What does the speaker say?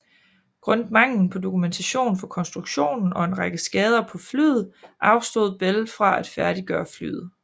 Grundet manglen på dokumentation for konstruktionen og en række skader på flyet afstod Bell fra at færdiggøre flyet